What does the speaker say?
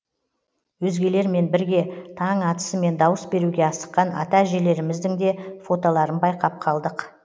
өзгелермен бірге таң атысымен дауыс беруге асыққан ата әжелеріміздің де фотоларын байқап қалдық